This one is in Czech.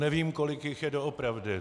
Nevím, kolik jich je doopravdy.